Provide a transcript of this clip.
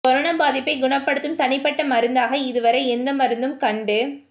corona பாதிப்பைக் குணப்படுத்தும் தனிப்பட்ட மருந்தாக இதுவரை எந்த மருந்தும் கண்டு